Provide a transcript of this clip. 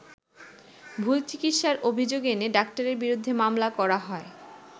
ভুল চিকিৎসার অভিযোগ এনে ডাক্তারের বিরুদ্ধে মামলা করা হয়।